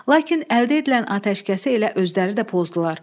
Lakin əldə edilən atəşkəsi elə özləri də pozdular.